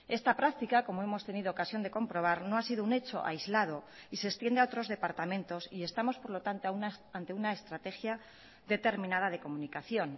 esta práctica como hemos tenido ocasión de comprobar no ha sido un hecho aislado y se extiende a otros departamentos y estamos por lo tanto ante una estrategia determinada de comunicación